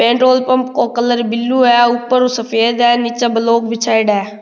Petrol pump का colour blue है ऊपर सफ़ेद है निचे ब्लॉक बिछाईडा है।